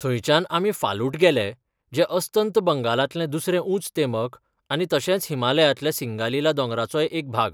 थंयच्यान आमी फालुट गेले जें अस्तंत बंगालांतलें दुसरें उंच तेमक आनी तशेंच हिमालयांतल्या सिंगालीला दोंगराचोय एक भाग.